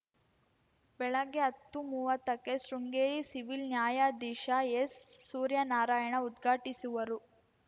ಬೆಳಗ್ಗೆ ಹತ್ತುಮುವತ್ತಕ್ಕೆ ಶೃಂಗೇರಿ ಸಿವಿಲ್‌ ನ್ಯಾಯಾಧೀಶ ಎಸ್‌ಸೂರ್ಯನಾರಾಯಣ ಉದ್ಘಾಟಿಸುವರು